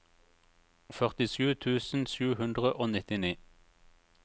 førtisju tusen sju hundre og nittini